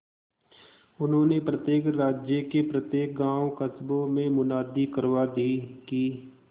उन्होंने प्रत्येक राज्य के प्रत्येक गांवकस्बों में मुनादी करवा दी कि